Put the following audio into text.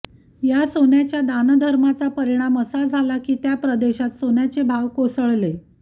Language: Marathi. या सोन्याच्या दानधर्माचा परिणाम असा झाला कि त्या प्रदेशात सोन्याचे भाव कोसळले